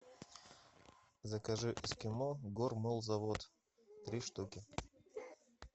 закажи эскимо гормолзавод три штуки